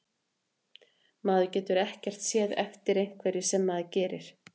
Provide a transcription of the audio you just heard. Maður getur ekkert séð eftir einhverju sem maður gerir.